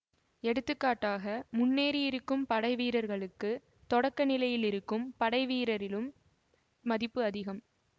எடுத்துக்காட்டாக முன்னேறி இருக்கும் படைவீரர்களுக்குத் தொடக்க நிலையில் இருக்கும் படைவீரரிலும் மதிப்பு அதிகம்